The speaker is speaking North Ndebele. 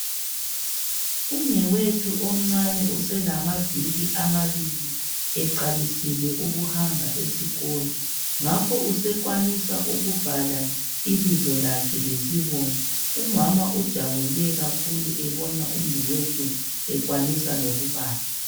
Umnewethu omncane uselamaviki amabili eqalisile ukuhamba esikolo ngakho usekwanisa ukubhala ibizo lakhe lesibongo. Umama ujabule kakhulu ebona umnewethu ekwanisa lokubala.